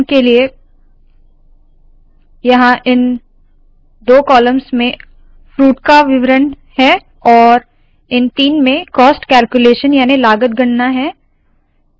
उदाहरण के लिए यहाँ इन दो कॉलम्स में फ्रूट्स को विवरण है और इन तीन में कॉस्ट कैल्क्यूलेशन याने लागत गणना है